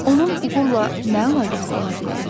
Onun uğurla nə əlaqəsi ola bilər?